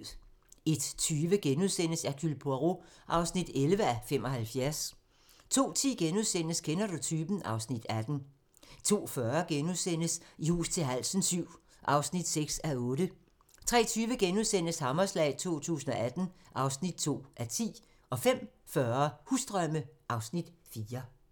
01:20: Hercule Poirot (11:75)* 02:10: Kender du typen? (Afs. 18)* 02:40: I hus til halsen VII (6:8)* 03:20: Hammerslag 2018 (2:10)* 05:40: Husdrømme (Afs. 4)